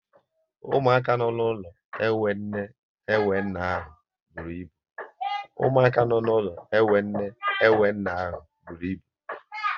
Ụmụaka nọ n'ụlọ enwe nne, enwe nna ahụ bụrụ ịbụ